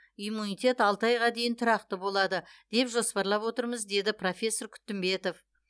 иммунитет алты айға дейін тұрақты болады деп жоспарлап отырмыз деді профессор күтімбетов